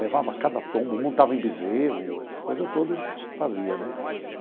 Levava cada tombo, montava em bezerro, essas coisas todas a gente fazia, né?